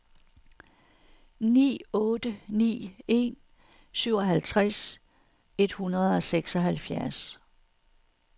ni otte ni en syvoghalvtreds et hundrede og seksoghalvfjerds